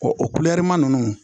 o ma ninnu